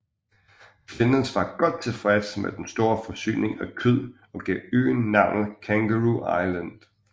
Flinders var godt tilfreds med den store forsyning af kød og gav øen navnet Kangaroo Island